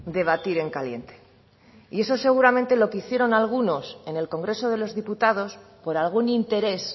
debatir en caliente y eso es seguramente lo que hicieron algunos en el congreso de los diputados por algún interés